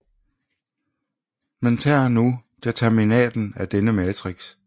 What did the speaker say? Man tager nu determinanten af denne matrix